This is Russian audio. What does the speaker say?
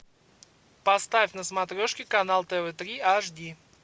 поставь на смотрешке канал тв три аш ди